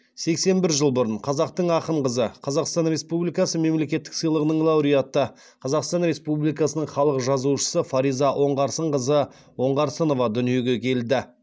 сексен бір жыл бұрын қазақтың ақын қызы қазақстан республикасы мемлекеттік сыйлығының лауреаты қазақстан республикасының халық жазушысы фариза оңғарсынқызы оңғарсынова дүниеге келді